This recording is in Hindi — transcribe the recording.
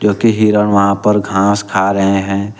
जो की हिरण वहां पर घास खा रहे हैं।